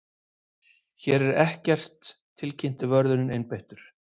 Hér er ekkert tilkynnti vörðurinn einbeittur.